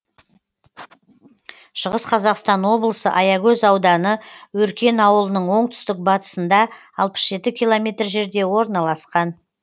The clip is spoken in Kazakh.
шығыс қазақстан облысы аягөз ауданы өркен ауылының оңтүстік батысында алпыс жеті километр жерде орналасқан